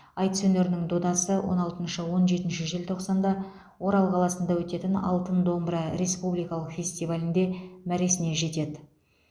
айтыс өнерінің додасы он алтыншы он жетінші желтоқсанда орал қаласында өтетін алтын домбыра республикалық фестивалінде мәресіне жетеді